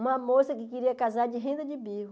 Uma moça que queria casar de renda de bico.